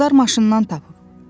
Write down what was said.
Qızlar maşından tapıb.